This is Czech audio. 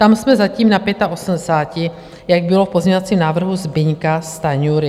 Tam jsme zatím na 85, jak bylo v pozměňovacím návrhu Zbyňka Stanjury.